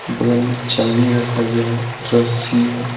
बगल मे छलनी रखा गया है रस्सी है ।